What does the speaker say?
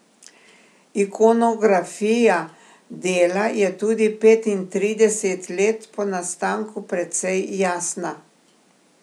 Ikonografija dela je tudi petintrideset let po nastanku precej jasna.